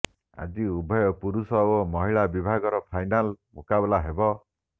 ଆଜି ଉଭୟ ପୁରୁଷ ଓ ମହିଳା ବିଭାଗର ଫାଇନାଲ ମୁକାବିଲା ହେବ